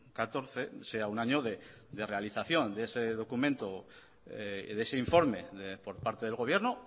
catorce sea un año de realización de ese documento de ese informe por parte del gobierno